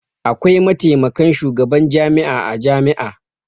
Akwai mataimakan shugaban jami'a a jami'a.